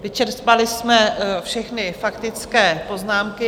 Vyčerpali jsme všechny faktické poznámky.